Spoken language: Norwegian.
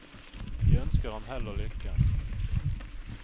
De ønsker ham hell og lykke.